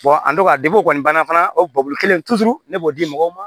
an tora kɔni banna fana o kelen ne b'o di mɔgɔw ma